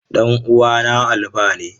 Dan uwana Alfa ne.